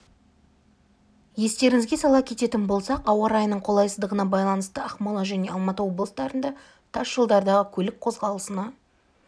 естеріңізге сала кететін болсақ ауа райының қолайсыздығына байланысты ақмола және алматы облыстарында тас жолдардағы көлік қозғалысына